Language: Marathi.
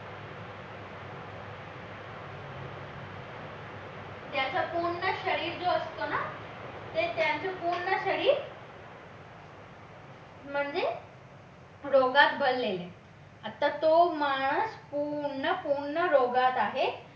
त्याचं पूर्ण शरीर जो असतो ना ते त्याचं पूर्ण शरीर म्हणजे रोगात भरलेले आता तो म्हणा तो पूर्ण पूर्ण रोगात आहे